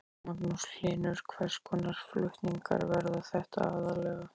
Magnús Hlynur: Hvers konar flutningar verða þetta aðallega?